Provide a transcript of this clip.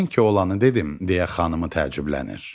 Mən ki olanı dedim, deyə xanımı təəccüblənir.